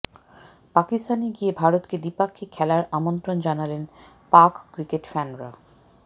পাকিস্তানে গিয়ে ভারতকে দ্বিপাক্ষিক খেলার আমন্ত্রণ জানালেন পাক ক্রিকেট ফ্যানরা